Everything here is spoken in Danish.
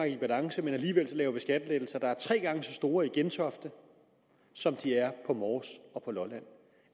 i balance men alligevel laver vi skattelettelser der er tre gange så store i gentofte som de er på mors og på lolland